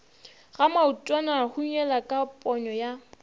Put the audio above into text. ga maotwanahunyela ka ponyo ya